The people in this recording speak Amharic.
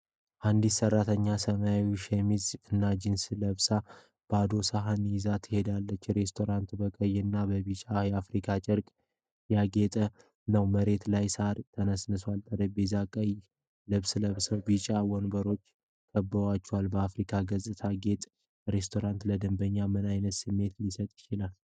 አንዲት ሰራተኛ ሰማያዊ ሸሚዝ እና ጂንስ ለብሳ ባዶ ሰሃን ይዛ ትሄዳለች። ሬስቶራንቱ በቀይ እና በቢጫ የአፍሪካ ጨርቅ ያጌጠ ነው። መሬትላይ ሳር ተነጥፏል። ጠረጴዛዎቹ ቀይ ልብስ ለብሰው ቢጫ ወንበሮች ከበዋቸዋል። በአፍሪካ ገጽታ ያጌጠ ሬስቶራንት ለደንበኞች ምን ዓይነት ስሜት ሊሰጥ ይችላል?